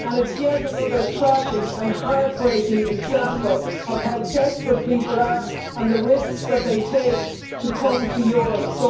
And it's yet another tragic and heart breaking example of how desperate people are, and the risks that they take to come to Europe.